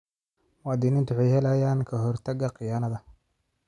Muwaadiniintu waxay helayaan ka-hortagga khiyaanada.